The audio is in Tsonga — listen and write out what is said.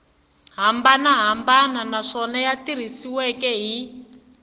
hambanahambana naswona ya tirhisiwile hi